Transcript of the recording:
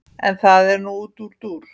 en það er nú útúrdúr